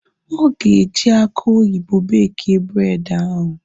Ọ ga-eji aki oyibo bekie bred ahu